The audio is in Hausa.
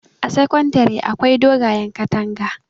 a sakandare akwai dogayen katanga